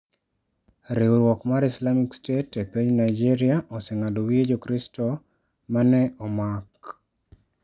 Riwruok mar Islamic State e piny Nigeria oseng'ado wiye jokristo ma ne omak